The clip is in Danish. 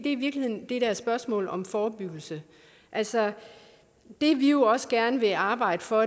i virkeligheden det der spørgsmål om forebyggelse altså det vi også gerne vil arbejde for